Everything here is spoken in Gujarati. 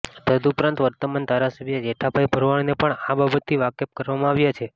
તદુપરાંત વર્તમાન ધારાસભ્ય જેઠાભાઈ ભરવાડને પણ આ બાબતથી વાકેફ કરવામાં આવ્યા છે